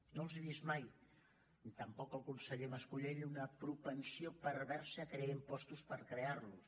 no els he vist mai ni tampoc al conseller mascolell una propensió perversa a crear impostos per crearlos